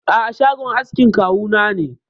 A'a, shagon askin kawu na ne.